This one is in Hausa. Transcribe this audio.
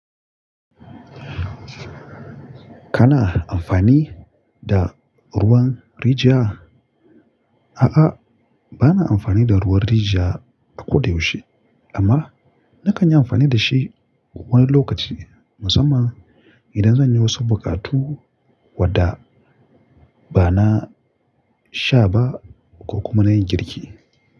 Kana amfani da ruwan rijiya? A'a, bana amfani da ruwan rijiya a ko da yaushe amma na kan yi amfani da shi wani lokaci musamman idan zan yi wasu buƙatu wadda ba na sha ba ko kuma na yi girki.